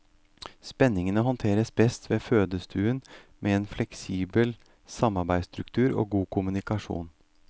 Spenningene håndteres best ved fødestuen med en fleksibel samarbeidsstruktur og god kommunikasjon.